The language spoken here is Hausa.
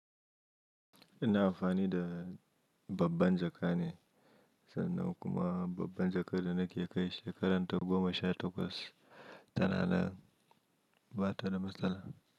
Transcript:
Ina amfani da babban jaka ne, sannan kuma babban jakar da nake kai shekarar ta goma sha takwas tana nan ba ta da matsala.